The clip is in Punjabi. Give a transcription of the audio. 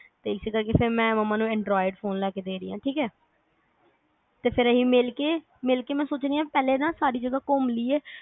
ਇਸੇ ਕਰ ਕੇ ਫਿਰ ਮੈਂ ਮੰਮਾ ਨੂੰ anroid phone ਲੈ ਕੇ ਦੇ ਰਹੀ ਆ ਠੀਕ ਐ ਤੇ ਫਿਰ ਅੱਸੀ ਮਿਲ ਕੇ ਮਿਲ ਕੇ ਮੈਂ ਸੋਚ ਰਹੀ ਆ ਪਹਿਲੇ ਨਾ ਸਾਰੀ ਜਗ੍ਹਾ ਘੁੰਮ ਲਈਏ